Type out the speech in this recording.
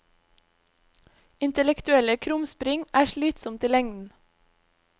Intellektuelle krumspring er slitsomt i lengden.